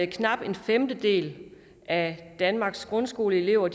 knap en femtedel af danmarks grundskoleelever